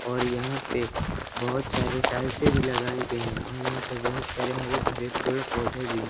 और यहां पे बहोत सारे टाइल्से भी लगाए गए हैं और यहां पे बहुत सारे हरे भरे पेड़ पौधे भी--